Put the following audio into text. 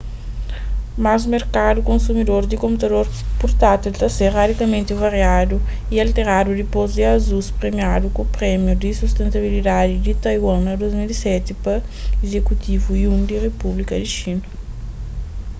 mas merkadu konsumidor di konputador purtátil ta ser radikamenti variadu y alteradu dipôs ki asus premiadu ku prémiu di sustentabilidadi di taiwan na 2007 pa izekutivu yuan di repúblika di xina